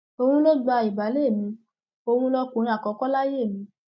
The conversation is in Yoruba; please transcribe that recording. òun ló gba ìbàlẹ mi òun lọkùnrin àkọkọ láyé mi